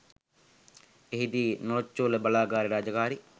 එහිදී නොරොච්චෝල බලාගාරයේ රාජකාරි